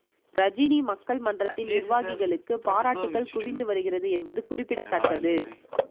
ரஜினி மக்கள் மன்றத்தின் நிர்வாகிகளுக்கு பாராட்டுக்கள் குவிந்து வருகிறது என்பது குறிப்பிடத்தக்கது